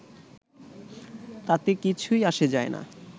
তাতে কিছুই আসে যায় না